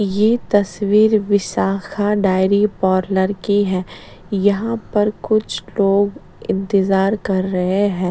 ये तस्वीर Vishakha dairy parlour की है यहाँ पर कुछ लोग इंतजार कर रहे हैं --